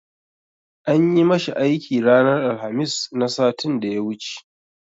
An yi ma shi aiki ranar Alhamis na satin da ya wuce.